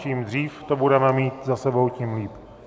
Čím dřív to budeme mít za sebou, tím líp.